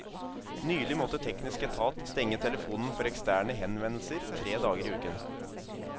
Nylig måtte teknisk etat stenge telefonen for eksterne henvendelser tre dager i uken.